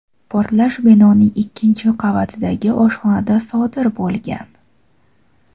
portlash binoning ikkinchi qavatidagi oshxonada sodir bo‘lgan.